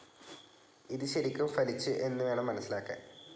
ഇത് ശരിക്കും ഫലിച്ചു എന്നു വേണം മനസിലാക്കാൻ.